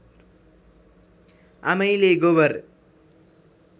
आमैले गोबर